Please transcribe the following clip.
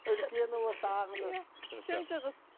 үлкені осы ақнұр иә үшінші қыз